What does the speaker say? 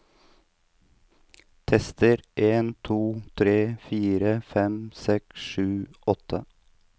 Tester en to tre fire fem seks sju åtte